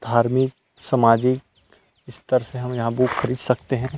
धार्मिक सामाजिक स्तर से हम यहाँ बुक खरीद सकते है।